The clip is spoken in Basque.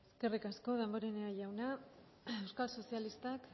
eskerrik asko damborenea jauna euskal sozialistak